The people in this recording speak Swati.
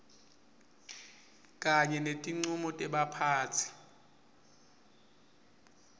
kanye netincumo tebaphatsi